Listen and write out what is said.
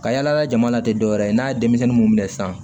Ka yala yala jama la tɛ dɔwɛrɛ ye n'a ye denmisɛnnin mun minɛ sisan